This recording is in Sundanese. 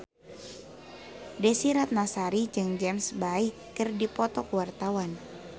Desy Ratnasari jeung James Bay keur dipoto ku wartawan